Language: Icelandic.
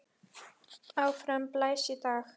Áfram blæs í dag.